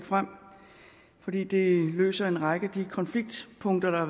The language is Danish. fremsat fordi det løser en række af de konfliktpunkter